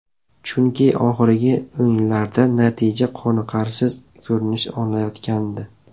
Chunki oxirgi o‘yinlarda natija qoniqarsiz ko‘rinish olayotgandi.